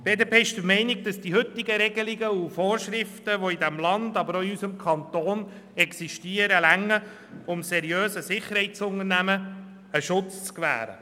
Die BDP ist der Meinung, dass die heutigen Regelungen, die in diesem Land sowie in diesem Kanton gelten, ausreichen, um seriösen Sicherheitsunternehmen den nötigen Schutz zu gewähren.